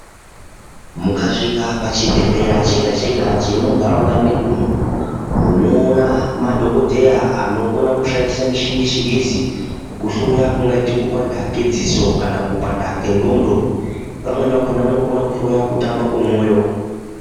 Mukasvika pachibhedhlera chega chega chiri munharaunda medumo unoona madhokodheya anokona kushandisa michini yechingezi kuhloya kungaita kupanda mbatso kana kupanda kwengonzo vamweni vakona kuhloya kutamba kwemoyo.